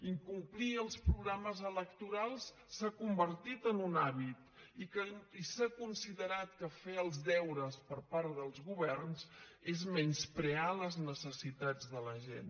incomplir els programes electorals s’ha convertit en un hàbit i s’ha considerat que fer els deures per part dels governs és menysprear les necessitats de la gent